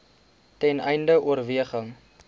ten einde oorweging